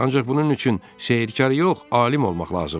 Ancaq bunun üçün sehrkar yox, alim olmaq lazımdır.